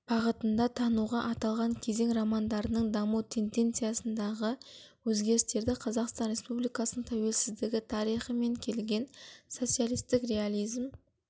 бағытында тануға аталған кезең романдарының даму тенденциясындағы өзгерістерді қазақстан республикасының тәуелсіздігі тарихымен келген социалистік реализм